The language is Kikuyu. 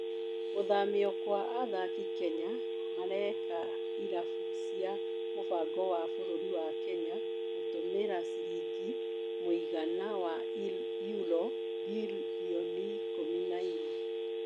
Gũthamio gwa athaki Kenya mareeka irabu cia mũbango wa bũrũri wa Kenya gutumĩra ciringi mũigana wa Euro birioni ikũmi na inya.